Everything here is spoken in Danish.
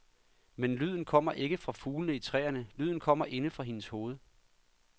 Men lyden kommer ikke fra fuglene i træerne, lyden kommer inde fra hendes hoved.